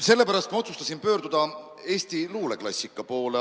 Sellepärast ma otsustasin pöörduda Eesti luuleklassika poole.